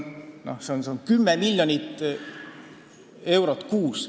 See on 10 miljonit eurot kuus.